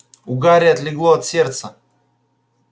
у гарри отлегло от сердца